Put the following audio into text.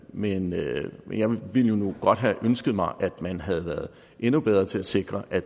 men jeg ville nu have ønsket mig at man havde været endnu bedre til at sikre at